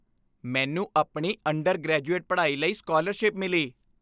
ਮੈਨੂੰ ਆਪਣੀ ਅੰਡਰਗ੍ਰੈਜੁਏਟ ਪੜ੍ਹਾਈ ਲਈ ਸਕਾਲਰਸ਼ਿਪ ਮਿਲੀ।